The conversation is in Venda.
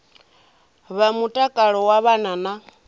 vha mutakalo wa vhana na